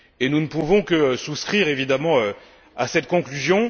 Nous ne pouvons que souscrire évidemment à cette conclusion.